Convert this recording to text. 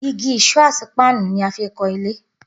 Igi, ìṣó àti páànù ni a fi ń kan ilé